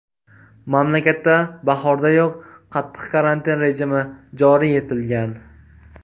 Mamlakatda bahordayoq qattiq karantin rejimi joriy etilgan.